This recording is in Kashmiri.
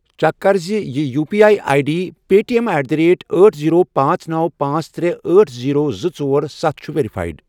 چیک کَر زِِ یہِ U P I I D Paytm at the rate أٹھ، زیٖرو، پانژھ، نوَ، پانژھ، ترے، أٹھ، زیٖرو، زٕ، ژور، ستھَ، چھےٚ ویرفایِڈ۔